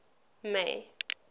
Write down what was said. may